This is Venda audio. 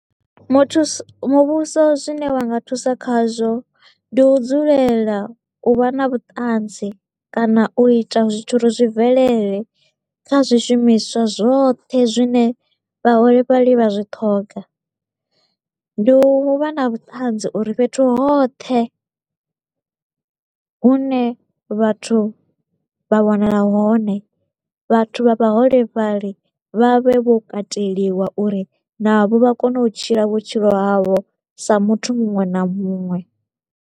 Muthuso muvhuso zwine wa nga thusa khazwo, ndi u dzulela u vha na vhuṱanzi kana u ita zwithu uri zwi bvelele kha zwi shumiswa zwoṱhe zwine vhaholefhali vha zwi ṱhoga. Ndi u vha na vhuṱanzi uri fhethu hoṱhe hune vhathu vha wanala hone, vhathu vha vha holefhali vha vhe vho kateliwa uri navho vha kone u tshila vhutshilo havho sa muthu muṅwe na muṅwe.